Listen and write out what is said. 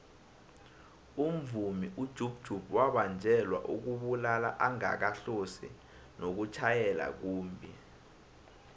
umvumi ujub jub wabanjelwa ukubulala angakahlosi nokutjhayela kumbhi